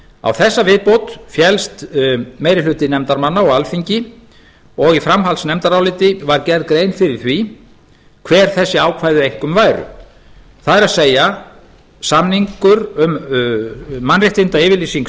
á þessa viðbót féllst meiri hluti nefndarmanna og alþingi og í framhaldsnefndaráliti var gerð grein fyrir því hver þessi ákvæði einkum væru það er samningur um mannréttindayfirlýsingu